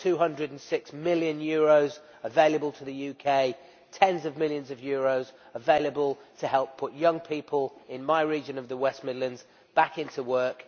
There were EUR 206 million available to the UK, tens of millions of euros available to help put young people in my region of the West Midlands back into work.